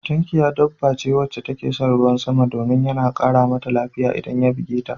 Tunkiya dabba ce wacce take son ruwan sama domin yana ƙara Mata lafiya idan ya buge ta sosai